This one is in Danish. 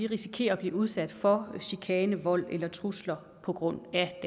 risikerer at blive udsat for chikane vold eller trusler på grund af